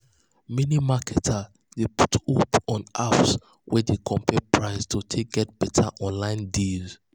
many marketers dey put hope on apps um wey dey compare price to take um get better online um deals